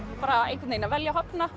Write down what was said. að velja og hafna